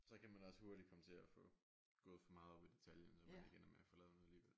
Så kan man også hurtigt komme til at få gået for meget op i detaljen så man ikke ender med at få lavet noget alligevel